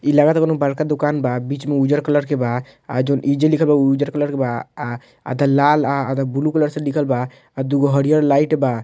इ लागाता कौनो बड़का दुकान बा बीच में उज्जर कलर के बा आ इ जॉन लिखल बा उजर कलर के बा आ आ आधा लाल आ आधा ब्लू कलर से लिखल बा और दु गो हरिहर लाइट बा।